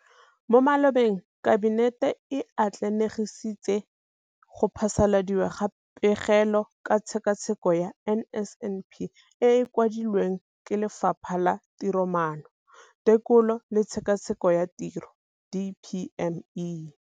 Mo malobeng Kabinete e atlenegisitse go phasaladiwa ga Pegelo ka Tshekatsheko ya NSNP e e kwadilweng ke Lefapha la Tiromaano, Tekolo le Tshekatsheko ya Tiro DPME.